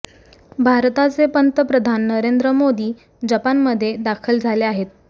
भारताचे पंतप्रधान नरेंद्र मोदी जपानमध्ये दाखल झाले आहेत